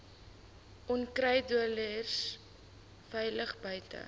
onkruiddoders veilig buite